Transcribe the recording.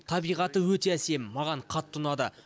табиғаты өте әсем маған қатты ұнады